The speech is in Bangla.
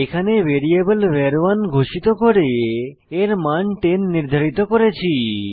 এখানে একটি ভ্যারিয়েবল ভার1 ঘোষিত করে এর মান 10 নির্ধারিত করেছি